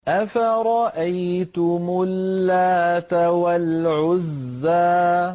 أَفَرَأَيْتُمُ اللَّاتَ وَالْعُزَّىٰ